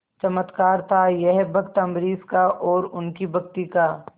चमत्कार था यह भक्त अम्बरीश का और उनकी भक्ति का